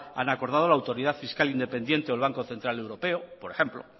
han acordado la autoridad fiscal independiente o el banco central europeo por ejemplo